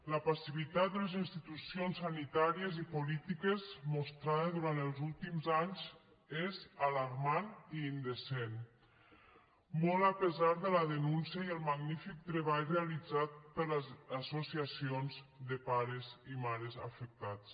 la passivitat de les institucions sanitàries i polítiques mostrada durant els últims anys és alarmant i indecent molt a pesar de la denúncia i el magnífic treball realitzat per les associacions de pares i mares afectats